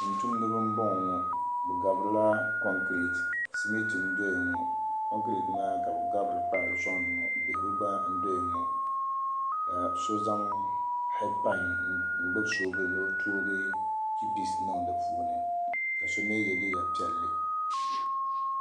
Tuntumdiba m-bɔŋɔ bɛ gariti la kɔnkireeti simiti m-dɔya ŋɔ kɔnkireeti maa ka bɛ gabiri n-kpaari sɔŋdi ŋɔ bihigu gba n-doya ŋɔ ka so zaŋ heedpad n-gbubi soobuli ni tooi chipisi niŋ di puuni ka so mi ye liigapiɛlli